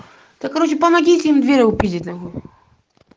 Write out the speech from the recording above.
так короче помогите им дверь пить